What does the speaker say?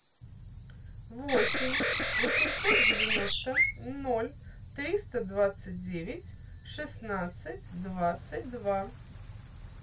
восемь восемьсот девяносто ноль триста двадцать девять шестнадцать двадцать два